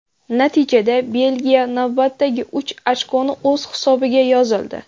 Natijada Belgiya navbatdagi uch ochkoni o‘z hisobiga yozildi.